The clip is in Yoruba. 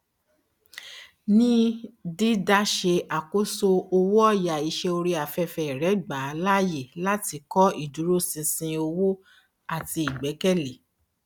ní dídá se àkóso owóọyà iṣé orí afẹfẹ rẹ gba láàyè láti kọ iduroṣinṣin owó àti ìgbẹkẹlé